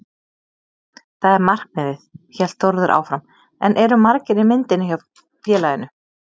Það er markmiðið, hélt Þórður áfram en eru margir í myndinni hjá félaginu?